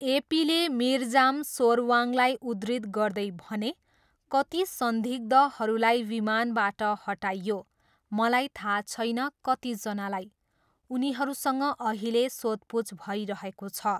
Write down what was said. एपीले मिरजाम सोर्वाङलाई उद्धृत गर्दै भने, 'कति संदिग्धहरूलाई विमानबाट हटाइयो, मलाई थाहा छैन कतिजनालाई। उनीहरूसँग अहिले सोधपुछ भइरहेको छ।'